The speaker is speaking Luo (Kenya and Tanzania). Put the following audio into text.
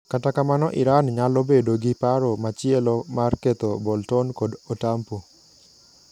Kata kamano Iran nyalo bedo gi paro machielo mar ketho Bolton kod Otampo.